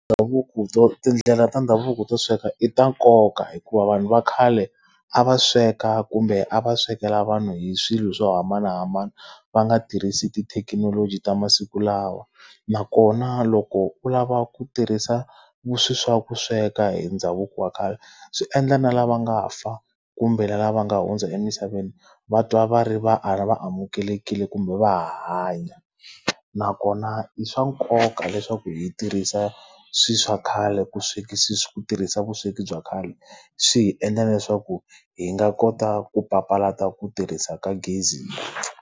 Ndhavuko to tindlela ta ndhavuko to sweka i ta nkoka hikuva vanhu va khale a va sweka kumbe a va swekela vanhu hi swilo swo hambanahambana, va nga tirhisi tithekinoloji ta masiku lawa. Nakona loko u lava ku tirhisa swilo swa ku sweka hi ndhavuko wa khale, swi endla na lava nga fa kumbe lava nga hundza emisaveni va twa va ri va amukelekile kumbe va ha hanya. Nakona i swa nkoka leswaku hi tirhisa swilo swa khale ku ku tirhisa vusweki bya khale, swi hi endla na leswaku hi nga kota ku papalata ku tirhisa ka gezi .